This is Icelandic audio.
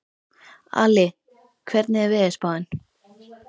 Ali, hvernig er veðurspáin?